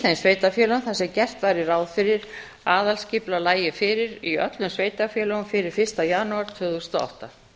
þeim sveitarfélögum þar sem gert væri ráð fyrir að aðalskipulag lægi fyrir í öllum sveitarfélögum fyrir fyrsta janúar tvö þúsund og átta